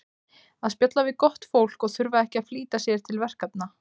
að spjalla við gott fólk og þurfa ekki að flýta sér til verkefna